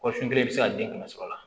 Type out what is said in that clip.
Kɔsun kelen bɛ se ka den kɛmɛ sɔrɔ a la